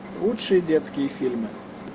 лучшие детские фильмы